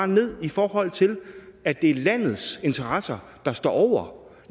ned i forhold til at det er landets interesser der står over